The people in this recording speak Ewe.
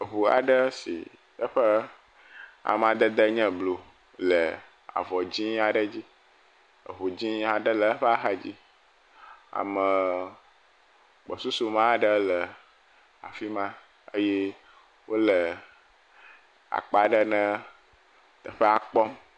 Eŋu aɖe si eƒe amadede nye blu le avɔ dzɛ̃ aɖe dzi, eŋu dzɛ̃ aɖe le eƒe axadzi. Amee gbɔsusume aɖe le afi ma eye akpa ne teƒea kpɔm.